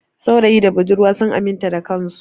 Saurayi da budurwa sun aminta da kansu.